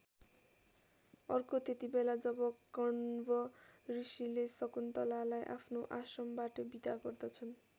अर्को त्यतिबेला जब कण्व ऋषिले शकुन्तलालाई आफ्नो आश्रमबाट बिदा गर्दछन्।